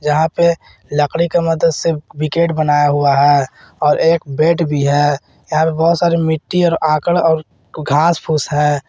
जहां पे लकड़ी के मदद से विकेट बनाया हुआ है और एक बेट भी है यहां पे बहोत सारे मिट्टी और आक्कड़ और घास फूस है।